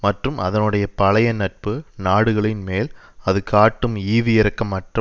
மற்றும் அதனுடைய பழைய நட்பு நாடுகளின் மேல் அது காட்டும் ஈவிரக்கமற்ற